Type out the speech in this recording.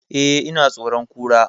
Eh, ina tsoron Kura